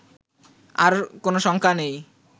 আর কোন শঙ্কা নেই